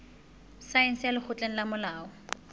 saense ya lekgotleng la molao